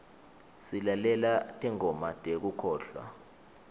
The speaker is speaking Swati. silalela tingoma tekukholwa